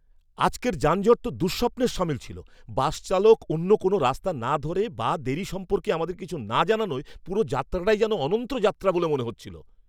আজকের যানজট তো দুঃস্বপ্নের সামিল ছিল। বাস চালক অন্য কোনও রাস্তা না ধরে বা দেরি সম্পর্কে আমাদের কিছু না জানানোয় পুরো যাত্রাটাই যেন অনন্ত যাত্রা বলে মনে হচ্ছিল!